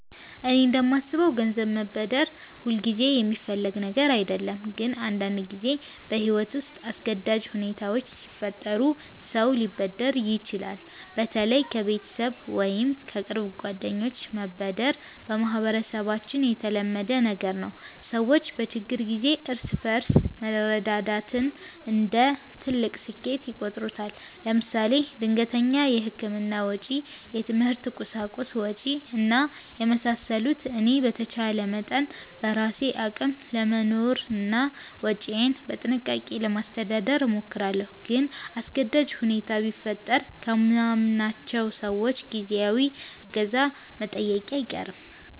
እኔ እንደማስበው ገንዘብ መበደር ሁልጊዜ የሚፈለግ ነገር አይደለም፣ ግን አንዳንድ ጊዜ በሕይወት ውስጥ አስገዳጅ ሁኔታዎች ሲፈጠሩ ሰው ሊበደር ይችላል። በተለይ ከቤተሰብ ወይም ከቅርብ ጓደኞች መበደር በማህበረሰባችን የተለመደ ነገር ነው። ሰዎች በችግር ጊዜ እርስ በርስ መረዳዳትን እንደ ትልቅ እሴት ይቆጥሩታል። ለምሳሌ ድንገተኛ የሕክምና ወጪ፣ የትምህርት ቁሳቁስ ወጭ እና የመሳሰሉት። እኔ በተቻለ መጠን በራሴ አቅም ለመኖርና ወጪዬን በጥንቃቄ ለማስተዳደር እሞክራለሁ። ግን አስገዳጅ ሁኔታ ቢፈጠር ከማምናቸው ሰዎች ጊዜያዊ እገዛ መጠየቄ አይቀርም